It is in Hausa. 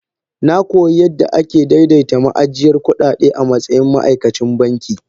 Na koyi yadda ake daidaita ma'ajiyar kuɗaɗe a matsayin ma'aikacin banki.